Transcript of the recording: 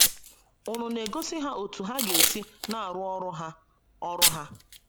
Ùnu na - egosi ha otú ha ga - esi na - arụ ọrụ ha ọrụ ha?